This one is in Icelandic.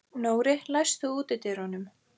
Nóri, læstu útidyrunum.